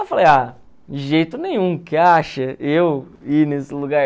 Aí eu falei, ah, de jeito nenhum, que acha eu ir nesse lugar?